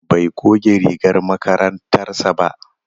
Bai goge rigar makarantar sa ba.